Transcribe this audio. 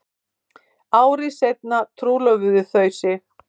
Ári seinna trúlofuðu þau sig